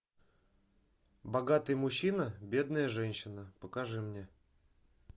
богатый мужчина бедная женщина покажи мне